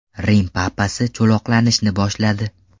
Rim papasi cho‘loqlanishni boshladi.